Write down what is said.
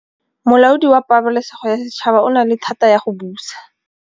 Molaodi wa Pabalêsêgo ya Setšhaba o na le thata ya go busa.